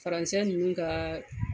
Faransɛ ninnu ka